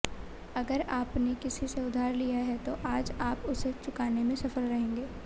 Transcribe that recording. अगर आपने किसी से उधार लिया है तो आज आप उसे चुकाने में सफल रहेंगे